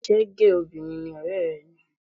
Ṣé géè obìnrin ni ọ̀rẹ́ rẹ ni?